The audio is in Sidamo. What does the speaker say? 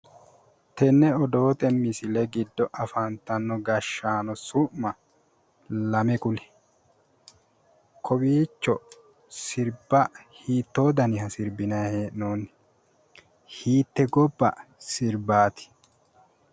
Tenne odoote misile giddo afantanno gashshaano su'ma lame kuli. Kowiicho sirba hiittoo daniha sirbinayi hee'noonni? Hiitte gobba sirbati?